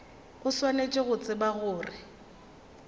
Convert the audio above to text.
o swanetše go tseba gore